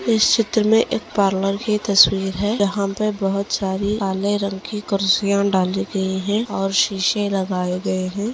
इस चित्र मे एक पार्लर की की तस्वीर है जहा पे बहुत सारी काले रंग की कुर्सिया डाली गयी है और शीशे लगाये गए है।